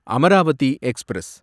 Amaravathi express